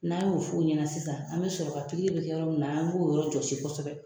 N'a y'o f'u ɲɛna sisan an bɛ sɔrɔ ka pikiri bɛ kɛ yɔrɔ min na an b'o yɔrɔ jɔsi kosɛbɛ